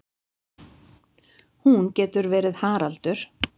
Hún getur verið Haraldur